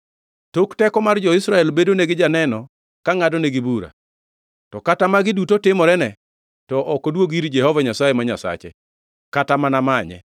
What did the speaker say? Tok teko mar jo-Israel bedonegi janeno ka ngʼadonegi bura, to kata magi duto timorene, to ok oduogi ir Jehova Nyasaye ma Nyasache, kata mana manye.